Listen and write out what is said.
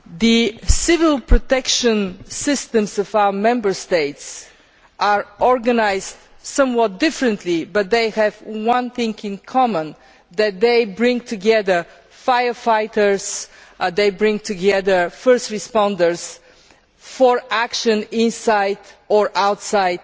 The civil protection systems of our Member States are organised somewhat differently, but they have one thing in common, namely that they bring together firefighters and first responders for action inside or outside